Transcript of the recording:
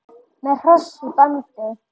Með hross í bandi.